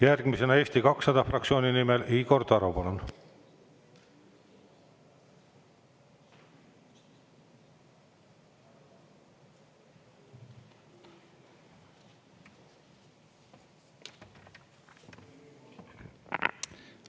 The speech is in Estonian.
Järgmisena Eesti 200 fraktsiooni nimel Igor Taro, palun!